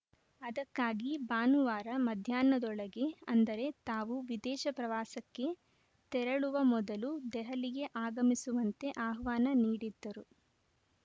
ಅದಕ್ಕಾಗಿ ಭಾನುವಾರ ಮಧ್ಯಾಹ್ನದೊಳಗೆ ಅಂದರೆ ತಾವು ವಿದೇಶ ಪ್ರವಾಸಕ್ಕೆ ತೆರಳುವ ಮೊದಲು ದೆಹಲಿಗೆ ಆಗಮಿಸುವಂತೆ ಆಹ್ವಾನ ನೀಡಿದ್ದರು